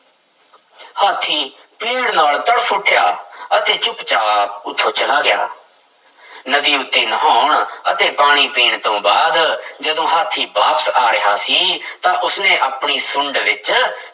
ਹਾਥੀ ਪੀੜ੍ਹ ਨਾਲ ਤੜਫ਼ ਉੱਠਿਆ ਅਤੇ ਚੁੱਪ ਚਾਪ ਉੱਥੋਂ ਚਲਾ ਗਿਆ ਨਦੀ ਉੱਤੇ ਨਹਾਉਣ ਅਤੇ ਪਾਣੀ ਪੀਣ ਤੋਂ ਬਾਅਦ ਜਦੋਂ ਹਾਥੀ ਵਾਪਸ ਆ ਰਿਹਾ ਸੀ ਤਾਂ ਉਸਨੇ ਆਪਣੀ ਸੁੰਡ ਵਿੱਚ